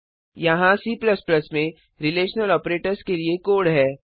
यहाँ C में relational operators के लिए कोड है